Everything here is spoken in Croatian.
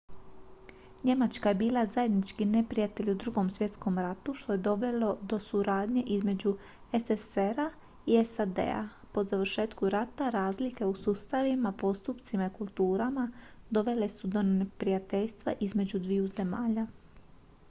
njemačka je bila zajednički neprijatelj u drugom svjetskom ratu što je dovelo do suradnje između sssr-a i sad-a po završetku rata razlike u sustavima postupcima i kulturama dovele su do neprijateljstva između dviju zemlja